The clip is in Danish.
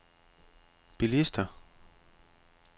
bilister